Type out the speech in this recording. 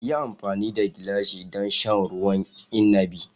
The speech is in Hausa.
Yi amfani da gilashi don sha ruwan inabi!